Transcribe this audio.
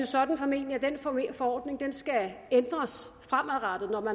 sådan at den forordning skal ændres fremadrettet når